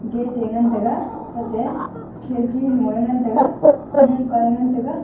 gate te ngantaga tate khidki lungye ngantaga lungka ye ngantaga.